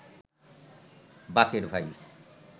বাকের ভাই